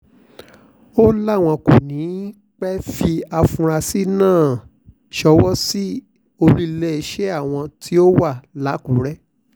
ó láwọn kò ní í pẹ́ẹ́ fi àfúrásì náà ṣọwọ́ sí olú iléeṣẹ́ àwọn tó wà lákùrẹ́